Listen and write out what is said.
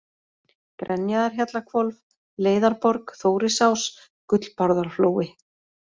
Grenjaðarhjallahvolf, Leiðarborg, Þórisás, Gullbárðarflói